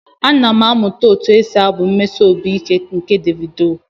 Ana m amụta otu esi abụ mmesi obi ike nke Davido.